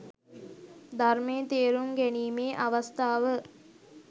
ධර්මය තේරුම් ගැනීමේ අවස්ථාව